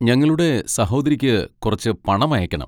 ഞങ്ങളുടെ സഹോദരിക്ക് കുറച്ച് പണമയക്കണം.